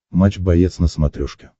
матч боец на смотрешке